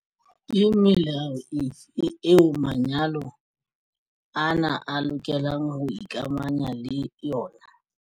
Ke melao efe eo manyalo ana a lokelang ho ikamahanya le yona?